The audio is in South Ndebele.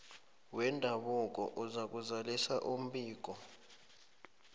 wendabuko uzakuzalisa umbiko